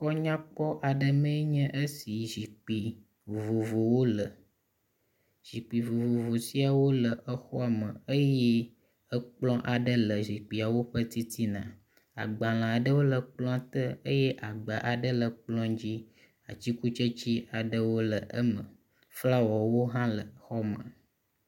Xɔ nyakpɔ aɖe mee nye esi zikpui vovovowo le. Zikpui vovovo siawo le exɔa me eye ekplɔ aɖe le zikpuiawo ƒe titina. Agbale aɖewo le ekplɔ te eye agba aɖewo le ekplɔ dzi. Atikutsetse aɖewo le eme. Flawawo hã le xɔa me.